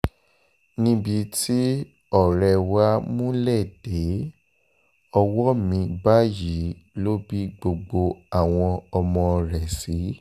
níbi tí ọ̀rẹ́ wa múlé dé ọwọ́ mi báyìí ló bí gbogbo àwọn ọmọ rẹ̀ sí